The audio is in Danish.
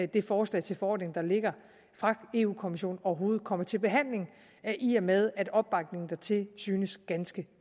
det forslag til forordning der ligger fra europa kommissionen overhovedet kommer til behandling i og med at opbakningen dertil synes ganske